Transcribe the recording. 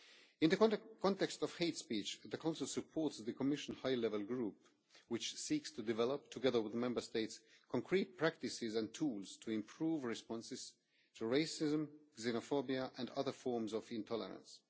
In the context of hate speech, the Council supports the Commission High Level Group, which seeks to develop, together with the Member States, concrete practices and tools to improve responses to racism, xenophobia and other forms of intolerance.